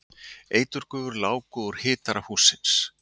Eiturgufur láku úr hitara hússins